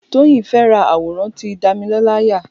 Toyosi fẹ̀ rà àwòràn ti Damilola yà